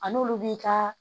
A n'olu b'i ka